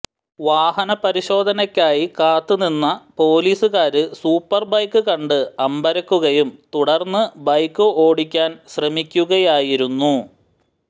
വാഹന പരിശോധനയ്ക്കായി കാത്ത് നിന്ന് പോലീസുകാര് സൂപ്പര് ബൈക്ക് കണ്ട് അമ്പരക്കുകയും തുടര്ന്ന് ബൈക്ക് ഓടിക്കാന് ശ്രമിക്കുകയായിരുന്നു